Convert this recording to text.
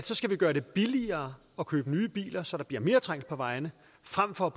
skal gøre det billigere at købe nye biler så der bliver mere trængsel på vejene frem for